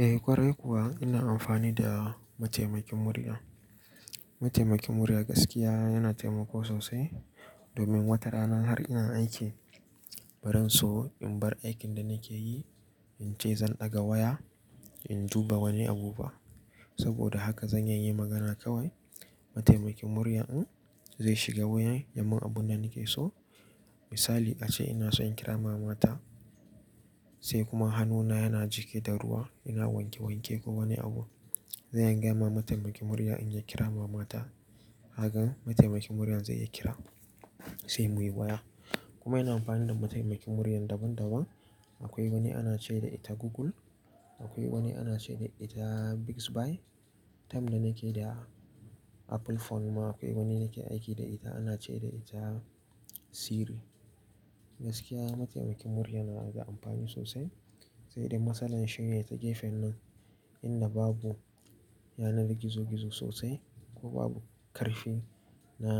Eh ƙwarai kuwa ina amfani da mataimakin murya. Mataimakin murya gaskiya yana taimako sosai domin wata rana har ina aiki baran so in bar aikin da nake yi in ce zan ɗaga waya in duba wani abu ba. Saboda haka zan iya yi magana kawai mataimakin murya din zai shiga waya yai mun abun da nake so. Misali a ce ina son kira mama ta sai kuma hannuna yana jike da ruwa ina wanke wanke ko wani abu. Zan gaya ma mataimakin murya in ya kira mama ta kagan mataimakin muryan zai iya kira sai muyi waya. Kuma ina amfani da mataimakin murya daban daban. Akwai wani ana ce da ita Google, akwai wani ana ce da ita Bixby. Time da nake da Apple phone ma akwai wani nake aiki da ita ana ce da ita Siri. Gaskiya mataimakin murya yana da amfani sosai sai dai matsalar shine ta gefen nan inda babu yanar gizo gizo sosai ko babu karfi na